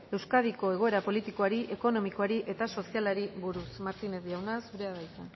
euskadiko egoera politikoari ekonomikoari eta sozialari buruz martínez jauna zurea da hitza